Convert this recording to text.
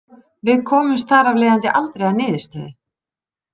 Við komumst þar af leiðandi aldrei að niðurstöðu.